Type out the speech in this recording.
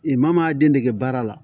E maa maa den dege baara la